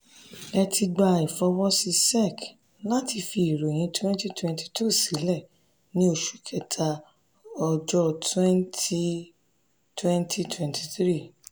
eti gba ifọwọsi sec lati fi iroyin 2022 silẹ ni oṣu kẹta ọjọ 20 2023.